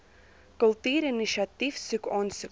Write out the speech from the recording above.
kultuurinisiatief soek aansoeke